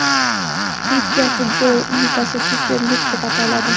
Turkiya futbol ligasi Super Lig deb ataladi.